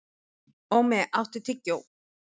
Ómi, áttu tyggjó?